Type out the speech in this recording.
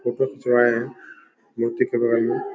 मुकुट चुराए है मूर्ति के बगल में।